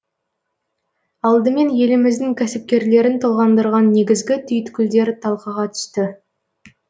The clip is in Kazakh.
алдымен еліміздің кәсіпкерлерін толғандырған негізгі түйткілдер талқыға түсті